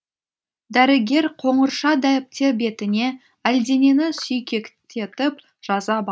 дәрігер қоңырша дәптер бетіне әлденені сүйкектетіп жаза ба